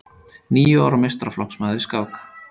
Níu ára meistaraflokksmaður í skák